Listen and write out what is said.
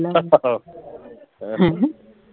ਹੈਂ